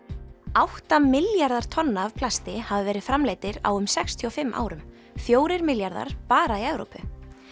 átta milljarðar tonna af plasti hafa verið framleiddir á um sextíu og fimm árum fjórir milljarðar bara í Evrópu